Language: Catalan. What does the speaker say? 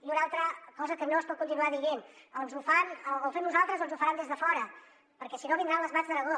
i una altra cosa que no es pot continuar dient o ho fem nosaltres o ens ho faran des de fora perquè si no vindran les mats d’aragó